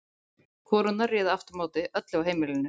Konurnar réðu aftur á móti öllu á heimilinu.